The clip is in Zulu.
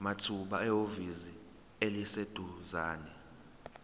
mathupha ehhovisi eliseduzane